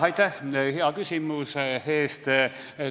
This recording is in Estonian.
Aitäh hea küsimuse eest!